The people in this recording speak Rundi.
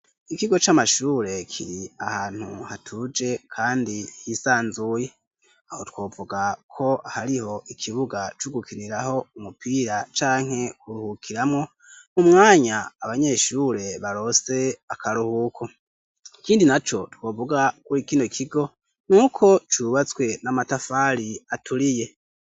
Ikigo c'amashure kiri ahantu hatuje kandi hisanzuye, aho twovuga ko hariho ikibuga cugukiriraho umupira canke kuruhukiramwo umwanya abanyeshure baronse akaruhuko, ikindi naco twovuga kuri kino kigo nuko cubatswe n'amatafari aturiye.